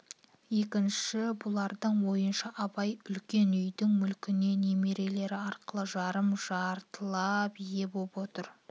екінші бұлардың ойынша абай үлкен үйдің мүлкіне немерелері арқылы жарым-жартылап ие боп отыр